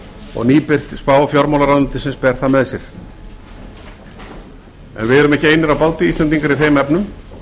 og nýbirt spá fjármálaráðuneytisins ber það með sér en við erum ekki einir á báti íslendingar í þeim efnum